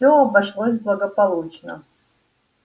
всё обошлось благополучно